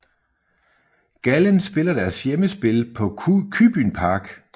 Gallen spiller deres hjemmespil på kybunpark